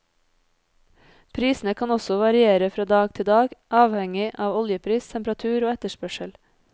Prisene kan også variere fra dag til dag, avhengig av oljepris, temperatur og etterspørsel.